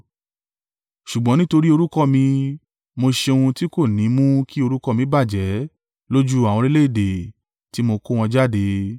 Ṣùgbọ́n nítorí orúkọ mi, mo ṣe ohun tí kò ní mú kí orúkọ mi bàjẹ́ lójú àwọn orílẹ̀-èdè tí mo kó wọn jáde.